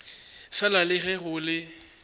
fela le ge go le